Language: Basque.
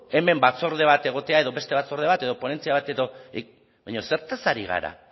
hemen batzorde bat egotea edo beste batzorde bat edo ponentzia bat edo baina zertaz ari gara